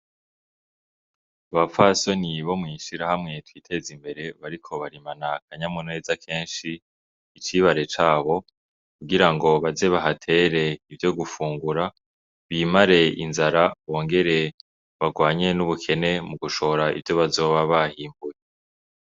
Abapfasoni bo mw'ishirahamwe twiteze imbere bariko barimana akanyamuneza kenshi icibare cabo kugira ngo baze bahatere ivyo gufungura, bimare inzara bongere barwanye n' ubukene mu gushora ivyo bazoba barimbuye.